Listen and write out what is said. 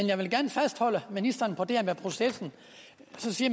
jeg vil gerne fastholde ministeren på det her med processen